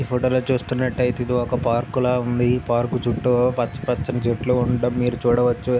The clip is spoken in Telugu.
ఈ ఫోటో లో చూస్తున్నట్టు అయితే ఇది ఒక పార్క్ లా ఉంది. ఈ పార్క్ చుట్టూ పచ్చ పచ్చని చెట్లు ఉండటం మీరు చూడవచ్చు.